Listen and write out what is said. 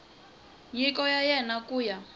nyiko ya wena ku ya